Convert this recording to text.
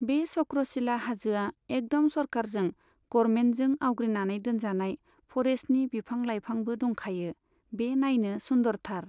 बे चख्रसिला हाजोआ एकदम सरखारजों गरमेन्थजों आवग्रिनानै दोनजानाय फरेस्टनि बिफां लायफांबो दंखायो बे नायनो सुन्दरथार।